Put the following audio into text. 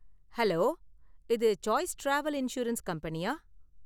Hello, இது choice travel insurance கம்பெனியா?